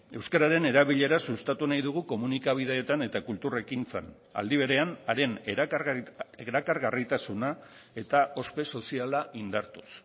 euskararen erabilera sustatu nahi dugu komunikabideetan eta kultur ekintzan aldi berean haren erakargarritasuna eta ospe soziala indartuz